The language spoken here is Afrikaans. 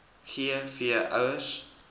g v ouers